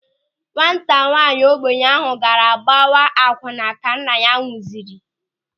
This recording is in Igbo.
Nwata nwaanyị ogbenye ahụ gaara gbawa akwụnna ka nna ya nwụsịrị.